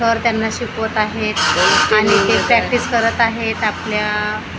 sir त्यांना शिकवत आहेत प्रॅक्टिस करत आहेत आपल्या--